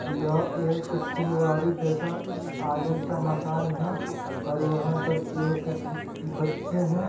यह एक फुलवारी जैसा आगे म- का मकान है और वहां पर एक ब- ब- बच्चे हैं ।